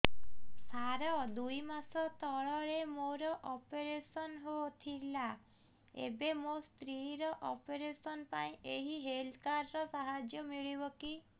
ସାର ଦୁଇ ମାସ ତଳରେ ମୋର ଅପେରସନ ହୈ ଥିଲା ଏବେ ମୋ ସ୍ତ୍ରୀ ର ଅପେରସନ ପାଇଁ ଏହି ହେଲ୍ଥ କାର୍ଡ ର ସାହାଯ୍ୟ ମିଳିବ କି